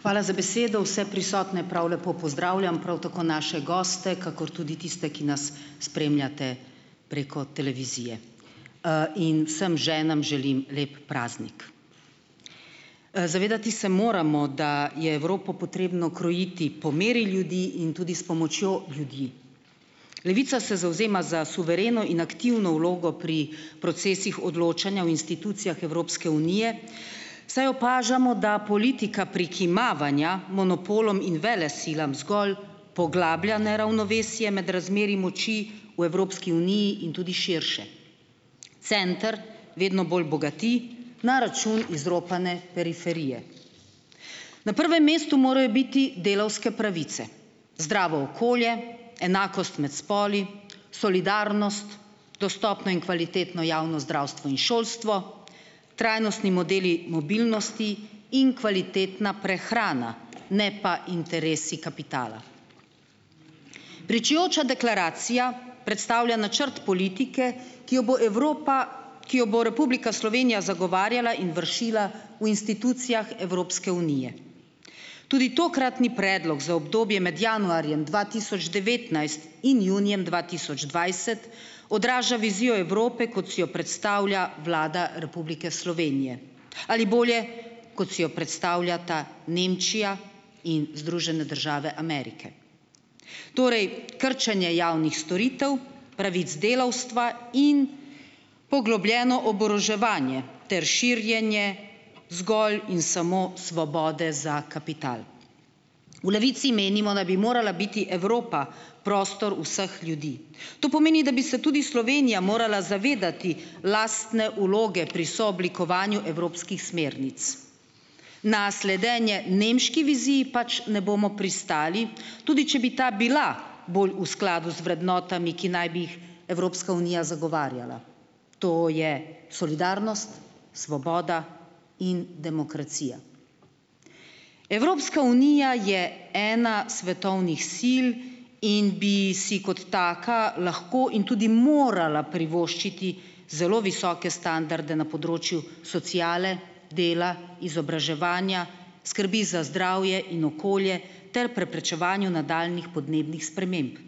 Hvala za besedo, vse prisotne prav lepo pozdravljam! Prav tako naše goste, kakor tudi tiste, ki nas spremljate preko televizije. In vsem ženam želim lep praznik! Zavedati se moramo, da je Evropo potrebno krojiti po meri ljudi in tudi s pomočjo ljudi. Levica se zavzema za suvereno in aktivno vlogo pri procesih odločanja o institucijah Evropske unije, saj opažamo, da politika prikimavanja monopolom in velesilam zgolj poglablja neravnovesje med razmerji moči v Evropski uniji in tudi širše. Center vedno bolj bogati na račun izropane periferije. Na prvem mestu morajo biti delavske pravice, zdravo okolje, enakost med spoli, solidarnost, dostopno in kvalitetno javno zdravstvo in šolstvo, trajnostni modeli mobilnosti in kvalitetna prehrana, ne pa interesi kapitala. Pričujoča deklaracija predstavlja načrt politike, ki jo bo Evropa, ki jo bo Republika Slovenija zagovarjala in vršila v institucijah Evropske unije. Tudi tokratni predlog za obdobje med januarjem dva tisoč devetnajst in junijem dva tisoč dvajset odraža vizijo Evrope, kot si jo predstavlja Vlada Republike Slovenije, ali bolje, kot si jo predstavljata Nemčija in Združene države Amerike. Torej krčenje javnih storitev, pravic delavstva in poglobljeno oboroževanje ter širjenje zgolj in samo svobode za kapital. V Levici menimo, da bi morala biti Evropa prostor vseh ljudi. To pomeni, da bi se tudi Slovenija morala zavedati lastne vloge pri sooblikovanju evropskih smernic. Na sledenje nemški viziji pač ne bomo pristali, tudi če bi ta bila bolj v skladu z vrednotami, ki naj bi Evropska unija zagovarjala. To je solidarnost, svoboda in demokracija. Evropska unija je ena svetovnih sil in bi si kot taka lahko in tudi morala privoščiti zelo visoke standarde na področju sociale, dela, izobraževanja, skrbi za zdravje in okolje ter preprečevanju nadaljnjih podnebnih sprememb.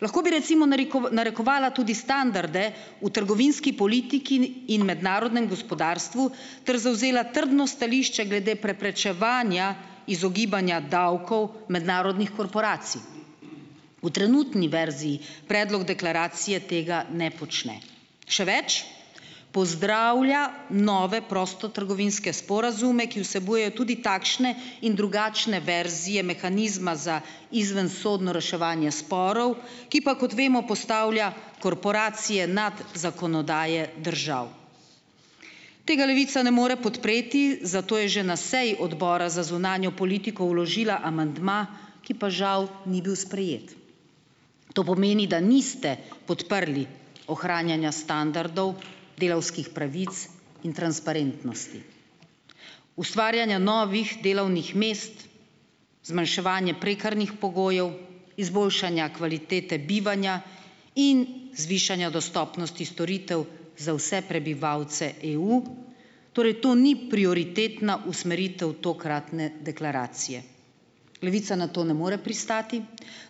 Lahko bi recimo narekovala tudi standarde v trgovinski politik in, in mednarodnem gospodarstvu ter zavzela trdno stališče glede preprečevanja izogibanja davkov mednarodnih korporacij. V trenutni verziji predlog deklaracije tega ne počne, še več, pozdravlja nove prostotrgovinske sporazume, ki vsebujejo tudi takšne in drugačne verzije mehanizma za izvensodno reševanje sporov, ki pa, kot vemo, postavlja korporacije nad zakonodaje držav. Tega Levica ne more podpreti, zato je že na seji odbora za zunanjo politiko vložila amandma, ki pa žal ni bil sprejet. To pomeni, da niste podprli ohranjanja standardov delavskih pravic in transparentnosti, ustvarjanja novih delovnih mest, zmanjševanje prekarnih pogojev, izboljšanja kvalitete bivanja in zvišanja dostopnosti storitev za vse prebivalce EU. Torej to ni prioritetna usmeritev tokratne deklaracije. Levica na to ne more pristati,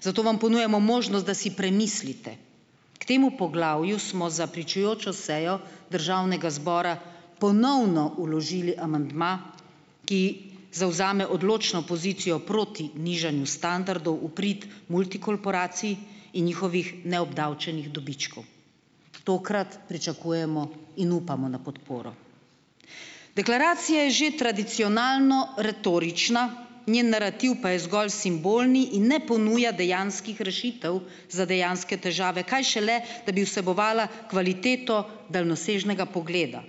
zato vam ponujamo možnost, da si premislite. K temu poglavju smo za pričujočo sejo državnega zbora ponovno vložili amandma, ki zavzame odločno pozicijo proti nižanju standardov v prid multikorporacij in njihovih neobdavčenih dobičkov. Tokrat pričakujemo in upamo na podporo. Deklaracija je že tradicionalno retorična, njen narativ pa je zgolj simbolni in ne ponuja dejanskih rešitev za dejanske težave, kaj šele, da bi vsebovala kvaliteto daljnosežnega pogleda.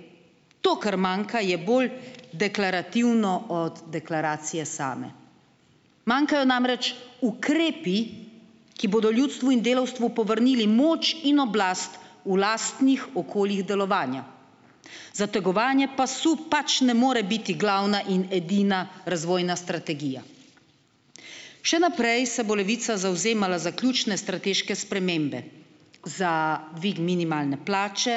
To, kar manjka, je bolj deklarativno od deklaracije same. Manjkajo namreč ukrepi, ki bodo ljudstvu in delavstvu povrnili moč in oblast v lastnih okoljih delovanja. Zategovanje pasu pač ne more biti glavna in edina razvojna strategija. Še naprej se bo Levica zavzemala za ključne strateške spremembe, za dvig minimalne plače,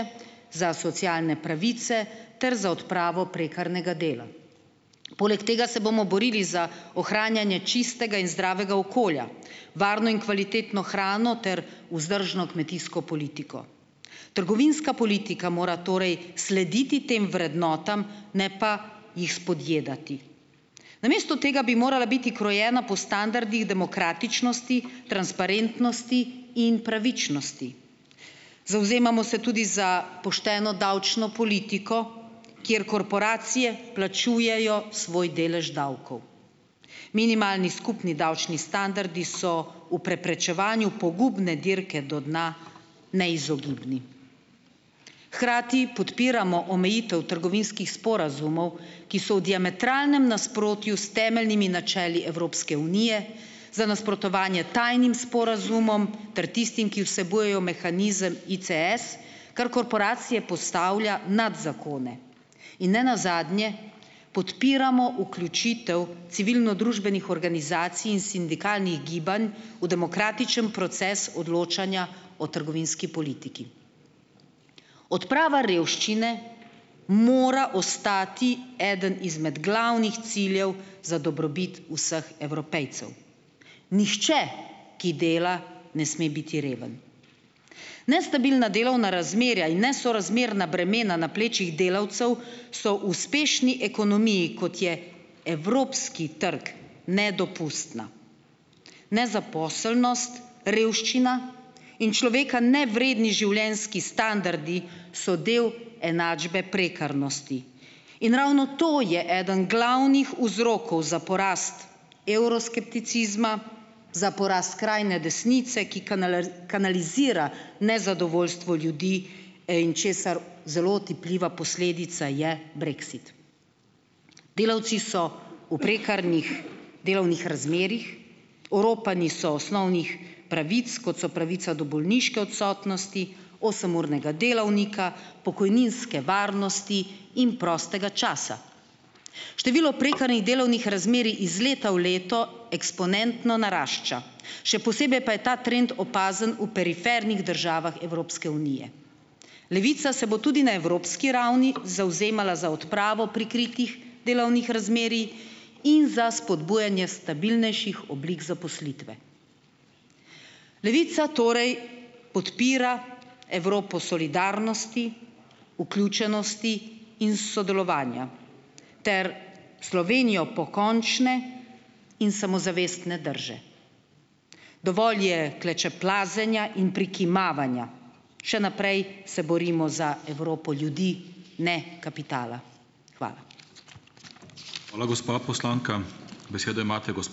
za socialne pravice ter za odpravo prekarnega dela. Poleg tega se bomo borili za ohranjanje čistega in zdravega okolja, varno in kvalitetno hrano ter vzdržno kmetijsko politiko. Trgovinska politika mora torej slediti tem vrednotam, ne pa jih spodjedati. Namesto tega bi morala biti krojena po standardih demokratičnosti, transparentnosti in pravičnosti. Zavzemamo se tudi za pošteno davčno politiko, kjer korporacije plačujejo svoj delež davkov. Minimalni skupni davčni standardi so v preprečevanju pogubne dirke do dna neizogibni. Hkrati podpiramo omejitev trgovinskih sporazumov, ki so v diametralnem nasprotju s temeljnimi načeli Evropske unije za nasprotovanje tajnim sporazumom ter tistim, ki vsebujejo mehanizem ICS, kar korporacije postavlja nad zakone. In ne nazadnje podpiramo vključitev civilnodružbenih organizacij in sindikalnih gibanj v demokratičen proces odločanja o trgovinski politiki. Odprava revščine mora ostati eden izmed glavnih ciljev za dobrobit vseh Evropejcev. Nihče, ki dela, ne sme biti reven. Nestabilna delovna razmerja in nesorazmerna bremena na plečih delavcev so uspešni ekonomiji, kot je evropski trg, nedopustna. Nezaposlenost, revščina in človeka nevredni življenjski standardi so del enačbe prekarnosti. In ravno to je eden glavnih vzrokov za porast evroskepticizma, za porast skrajne desnice, ki kanalizira nezadovoljstvo ljudi, in česar zelo otipljiva posledica je brexit. Delavci so v prekarnih delovnih razmerjih, oropani so osnovnih pravic, kot so pravica do bolniške odsotnosti, osemurnega delovnika, pokojninske varnosti in prostega časa. Število prekarnih delovnih razmerij iz leta v leto eksponentno narašča, še posebej pa je ta trend opazen v perifernih državah Evropske unije. Levica se bo tudi na evropski ravni zavzemala za odpravo prikritih delovnih razmerij in za spodbujanje stabilnejših oblik zaposlitve. Levica torej podpira Evropo solidarnosti, vključenosti in sodelovanja ter Slovenijo pokončne in samozavestne drže. Dovolj je klečeplazenja in prikimavanja. Še naprej se borimo za Evropo ljudi, ne kapitala. Hvala. Hvala, gospa poslanka, besedo imate ...